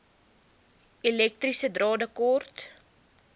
elektriese drade kort